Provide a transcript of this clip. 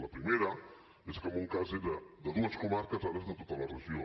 la primera és que en un cas era de dues comarques i ara és de tota la regió